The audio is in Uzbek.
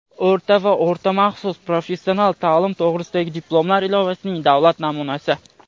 o‘rta va o‘rta maxsus professional ta’lim to‘g‘risidagi diplomlar ilovasining davlat namunasi;.